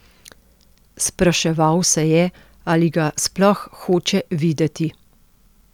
Spraševal se je, ali ga sploh hoče videti.